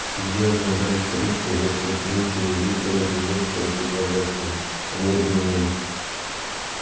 судья мадам трюк пригласил флинта и вуда обменяться рукопожатием они обменялись